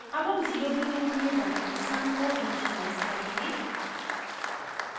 अब sum 0 के रूप में variable sum को इनीशिलाइज करेंगे